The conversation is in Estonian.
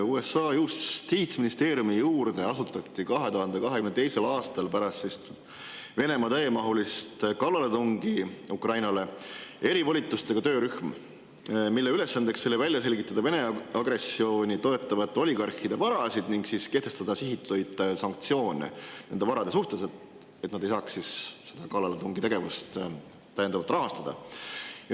USA justiitsministeeriumi juurde asutati 2022. aastal pärast Venemaa täiemahulist kallaletungi Ukrainale erivolitustega töörühm, mille ülesanne oli välja selgitada Vene agressiooni toetavate oligarhide varad ning kehtestada sihitud sanktsioone nende varade suhtes, et oligarhid ei saaks kallaletungitegevust täiendavalt rahastada.